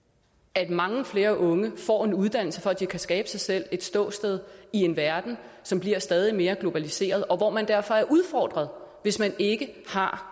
at mange flere unge får en uddannelse for at de kan skabe sig selv et ståsted i en verden som bliver stadig mere globaliseret og hvor man derfor er udfordret hvis man ikke har